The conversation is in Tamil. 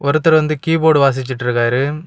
ஒருத்தர் வந்து கீபோர்ட் வாசிச்சிட்டு இருக்காரு.